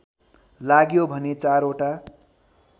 लाग्यो भने चारवटा